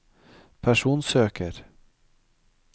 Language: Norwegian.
personsøker